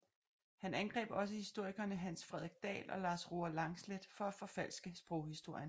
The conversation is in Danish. Han angreb også historikerne Hans Fredrik Dahl og Lars Roar Langslet for at forfalske sproghistorien